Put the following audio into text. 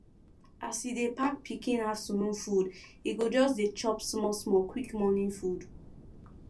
as e dey pack pikin afternoon food e go just dey chop small small quick morning food